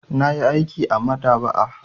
Na yi aiki a maɗaba'a.